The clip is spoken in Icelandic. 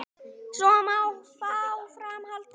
Svo má áfram halda.